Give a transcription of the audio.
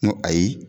N ko ayi